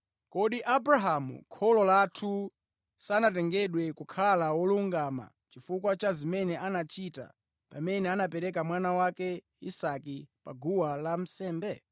Kodi Abrahamu kholo lathu sanatengedwe kukhala wolungama chifukwa cha zimene anachita pamene anapereka mwana wake Isake pa guwa lansembe?